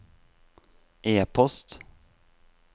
e-post